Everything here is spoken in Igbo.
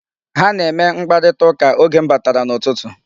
Ha na-eme mkparitaụka oge m batara n'ụtụtụ.